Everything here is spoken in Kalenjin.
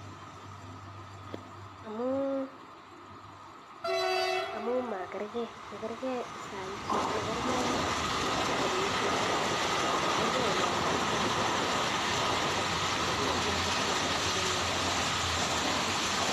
Amuu makerke saishek makerke olemii chito makerke olamii ak olemii chito akee notok amunee sokomitei let